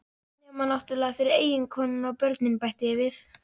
Nema náttúrlega fyrir eiginkonuna og börnin, bæti ég við.